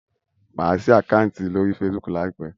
Má sí Àkáùntì lórí Facebook láìpé